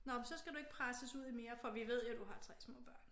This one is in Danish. Nåh så skal du ikke presses ud i mere for vi ved jo du har 3 små børn